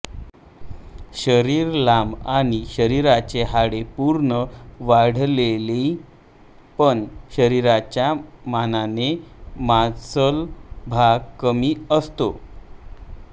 शरीर लांब आणि शरीराची हाडे पूर्ण वाढलेली पण शरीराच्या मानाने मांसल भाग कमी असतो